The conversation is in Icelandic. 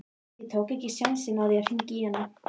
Ég tók ekki sénsinn á því að hringja í hana.